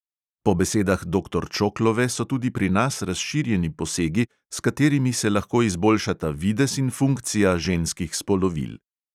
Po besedah doktor čoklove so tudi pri nas razširjeni posegi, s katerimi se lahko izboljšata videz in funkcija ženskih spolovil.